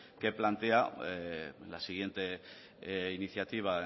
que plantea la siguiente iniciativa